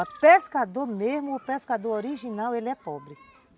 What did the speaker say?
O pescador mesmo, o pescador original, ele é pobre.